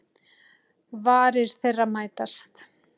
Varir þeirra mætast.